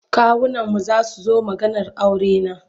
Kawunanmu za su zo maganar aurena.